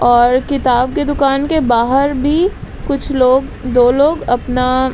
और किताब के दुकान के बाहर भी कुछ लोग दो लोग अपना--